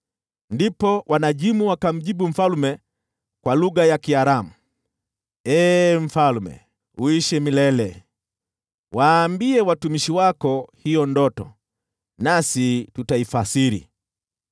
Ndipo wanajimu wakamjibu mfalme kwa lugha ya Kiaramu, “Ee mfalme, uishi milele! Waambie watumishi wako hiyo ndoto, nasi tutaifasiri.”